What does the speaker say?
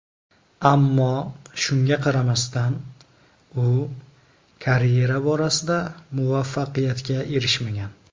Ammo shunga qaramasdan, u karyera borasida muvaffaqiyatga erishmagan.